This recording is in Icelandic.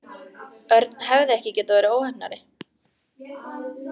Örn hefði ekki getað verið óheppnari.